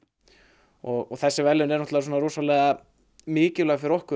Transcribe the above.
og þessi verðlaun eru rosalega mikilvæg fyrir okkur